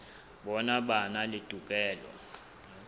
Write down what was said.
bona ba na le tokelo